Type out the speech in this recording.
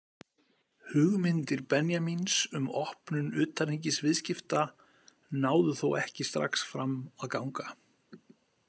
Hugmyndir Benjamíns um opnun utanríkisviðskipta náðu þó ekki strax fram að ganga.